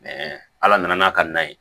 ala nana n'a ka na ye